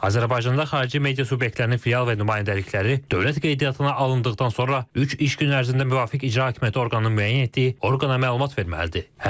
Azərbaycanda xarici media subyektlərinin filial və nümayəndəlikləri dövlət qeydiyyatına alındıqdan sonra üç iş günü ərzində müvafiq icra hakimiyyəti orqanı müəyyən etdiyi orqana məlumat verməlidir.